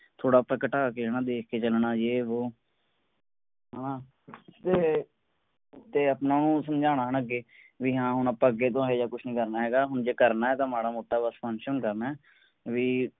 ਥੋੜਾ ਜੇਹਾ ਘਟਾ ਕੇ ਆਪਾਂ ਦੇਖ ਕੇ ਚਲਣਾ ਯੇ ਵੋਹ ਹੈਨਾ ਤੇ ਆਪਣਾ ਉਹ ਸਮਝਾਉਣਾ ਅੱਗੇ ਵੀ ਹਾਂ ਅੱਗੇ ਆਪਾਂ ਇਹੋ ਜੇਹਾ ਕੁੱਛ ਨੀ ਕਰਨਾ ਹੁਣ ਜੇ ਕਰਨਾ ਹੈ ਤਾਂ ਮਾੜਾ ਮੋਟਾ ਬਸ function ਹੀ ਕਰਨਾ ਹੈ ਬਈ